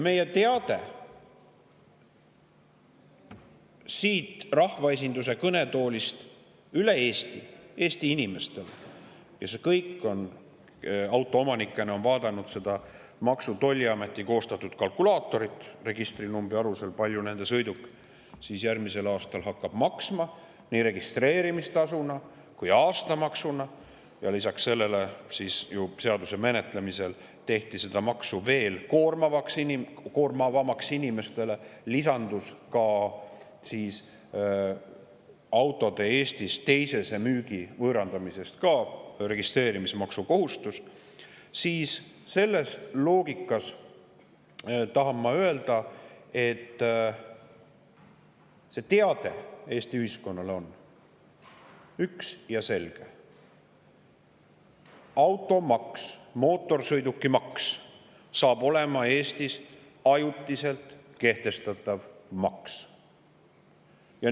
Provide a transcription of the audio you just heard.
Meie teade siit rahvaesinduse kõnetoolist üle Eesti, Eesti inimestele, kes kõik on autoomanikena registrinumbri alusel vaadanud selle Maksu‑ ja Tolliameti koostatud kalkulaatori abil, kui palju nende sõiduk siis järgmisel aastal nii registreerimistasu kui ka aastamaksu tõttu maksma läheb – lisaks sellele tehti seadus menetlemisel see maks inimestele veel koormavamaks, sest lisandus ka autode Eestis teisese müügi, võõrandamise korral ka registreerimismaksu kohustus –, selles loogikas tahan ma seda öelda, see teade Eesti ühiskonnale on üks ja selge: automaks, mootorsõidukimaks, saab olema Eestis ajutiselt kehtestatav maks.